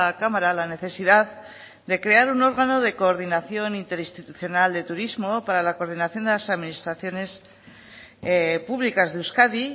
cámara la necesidad de crear un órgano de coordinación interinstitucional de turismo para la coordinación de las administraciones publicas de euskadi